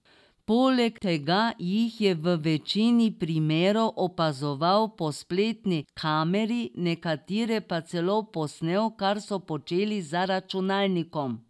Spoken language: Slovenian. Poleg tega jih je v večini primerov opazoval po spletni kameri, nekatere pa celo posnel, kar so počeli za računalnikom.